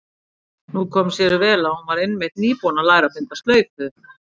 Nú kom sér vel að hún var einmitt nýbúin að læra að binda slaufu.